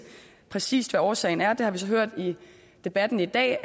præcis hvad årsagen er det har vi så hørt i debatten i dag